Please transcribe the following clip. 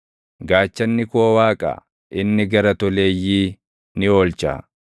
Gaachanni koo Waaqa; inni gara toleeyyii ni oolcha.